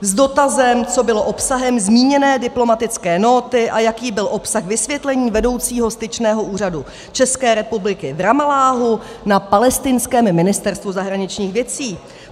- s dotazem, co bylo obsahem zmíněné diplomatické nóty a jaký byl obsah vysvětlení vedoucího styčného úřadu České republiky v Ramalláhu na palestinském ministerstvu zahraničních věcí.